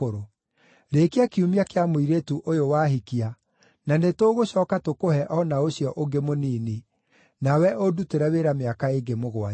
Rĩĩkia kiumia kĩa mũirĩtu ũyũ wahikia, na nĩtũgũcooka tũkũhe o na ũcio ũngĩ mũnini, nawe ũndutĩre wĩra mĩaka ĩngĩ mũgwanja.”